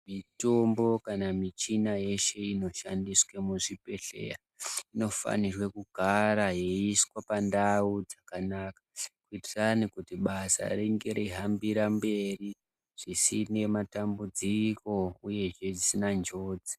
Mitombo kana michina yeshe inoshandiswe muzvibhedhleya, inofanirwe kugara yeiiswa pandau dzakanaka, kuitirani basa ringe reihambira mberi zvisine matambudziko, uyehe risina njodzi.